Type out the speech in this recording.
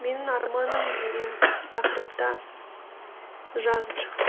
менің арманым деген тақырыпта жазып шықты